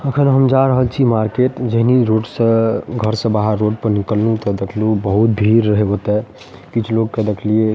अखन हम जा रहल छी मार्केट जेहनी रोड से घर से बाहर रोड पे निकलनी तो देखनी बहुत भीड़ रहे ओयता किछ लोग के देखलिये --